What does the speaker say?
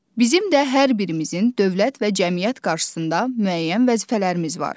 Bizim də hər birimizin dövlət və cəmiyyət qarşısında müəyyən vəzifələrimiz var.